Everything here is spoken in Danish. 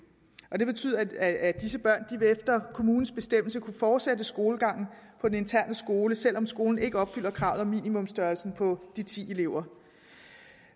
det betyder at disse børn efter kommunens bestemmelse vil kunne fortsætte skolegangen på den interne skole selv om skolen ikke opfylder kravet om minimumsstørrelsen på de ti elever